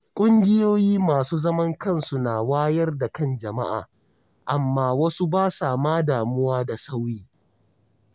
Kungiyoyi masu zaman kansu na wayar da kan jama’a, amma wasu ba sa ma damuwa da sauyi.